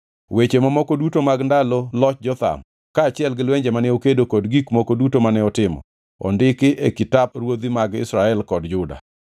Weche mamoko duto mag ndalo loch Jotham, kaachiel gi lwenje mane okedo kod gik moko duto mane otimo, ondiki e kitap ruodhi mag Israel kod Juda.